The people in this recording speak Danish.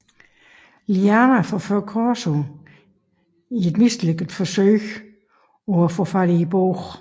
Liana forfører Corso i et mislykket forsøg på at få fat i bogen